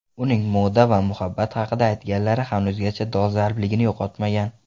Uning moda va muhabbat haqida aytganlari hanuzgacha dolzarbligini yo‘qotmagan.